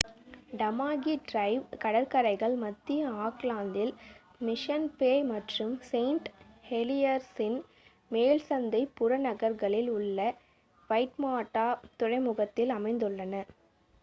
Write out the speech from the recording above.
Tamaki Drive கடற்கரைகள் மத்திய ஆக்லாந்தில் மிஷன் பே மற்றும் செயின்ட் ஹெலியர்ஸின் மேல்சந்தை புறநகர்களில் உள்ள வைட்மாடா துறைமுகத்தில் அமைந்துள்ளன